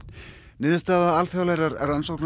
niðurstaða alþjóðlegrar rannsóknar